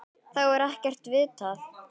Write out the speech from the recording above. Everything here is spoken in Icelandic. Þá er ekkert vitað.